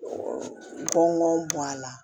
Bɔn a la